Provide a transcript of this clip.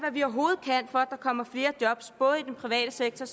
og at der kommer flere job både i den private sektor